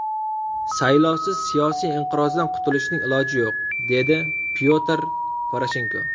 Saylovsiz siyosiy inqirozdan qutilishning iloji yo‘q”, dedi Pyotr Poroshenko.